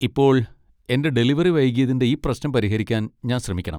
ഇപ്പോൾ, എന്റെ ഡെലിവറി വൈകിയതിന്റെ ഈ പ്രശ്നം പരിഹരിക്കാൻ ഞാൻ ശ്രമിക്കണം.